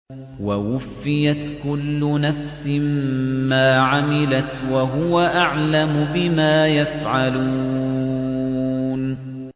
وَوُفِّيَتْ كُلُّ نَفْسٍ مَّا عَمِلَتْ وَهُوَ أَعْلَمُ بِمَا يَفْعَلُونَ